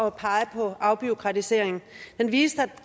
at pege på afbureaukratisering den viste at